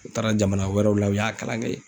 U taara jamana wɛrɛw la u y'a kalan kɛ yen